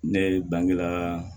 Ne ye bangela